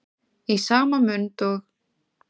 Í sama mund og